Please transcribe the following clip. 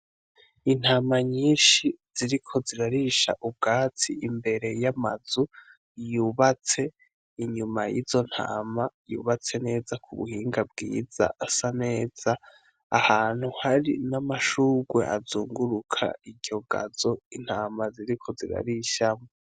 Intama nyinshi ziriko zirarisha ubwatsi imbere y'amazu yubatse inyuma y'izo ntama yubatse neza ku buhinga bwiza asa neza ahantu hari n'amashurwe azunguruka iryo gazo intama ziriko zirarishamo.